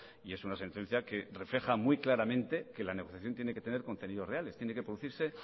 y es una sentencia que refleja muy claramente que la negociación tiene que tener contenidos reales tiene que producirse